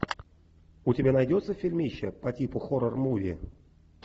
у тебя найдется фильмище по типу хоррор муви